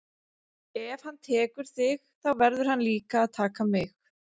Ef hann tekur þig þá verður hann líka að taka mig.